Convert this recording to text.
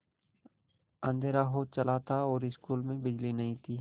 अँधेरा हो चला था और स्कूल में बिजली नहीं थी